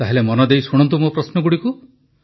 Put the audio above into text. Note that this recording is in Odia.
ତାହେଲେ ମନଦେଇ ଶୁଣନ୍ତୁ ମୋ ପ୍ରଶ୍ନଗୁଡ଼ିକୁ